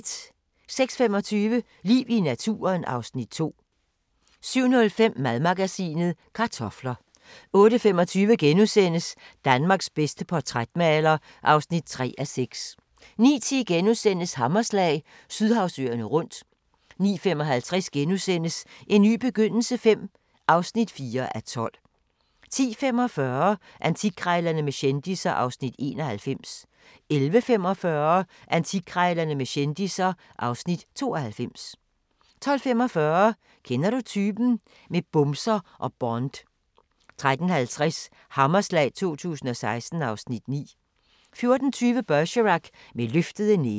06:25: Liv i naturen (Afs. 2) 07:05: Madmagasinet: Kartofler 08:25: Danmarks bedste portrætmaler (3:6)* 09:10: Hammerslag – Sydhavsøerne rundt * 09:55: En ny begyndelse V (4:12)* 10:45: Antikkrejlerne med kendisser (Afs. 91) 11:45: Antikkrejlerne med kendisser (Afs. 92) 12:45: Kender du typen? - med bumser og Bond 13:30: Hammerslag 2016 (Afs. 9) 14:20: Bergerac: Med løftede næver